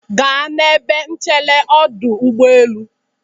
Gaa n'ebe nchere ọdụ ụgbọelu